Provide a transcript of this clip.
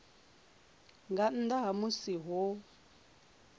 nga nnḓa ha musi ho